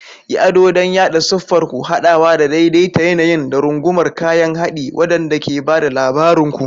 Yi ado don yaɗa siffar ku, haɗawa da daidaita yanayin, da rungumar kayan haɗi waɗanda ke ba da labarin ku.